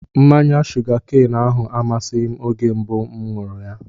Mmanya shuga keenu ahụ amasịghị m oge mbụ mụ ṅụrụ ya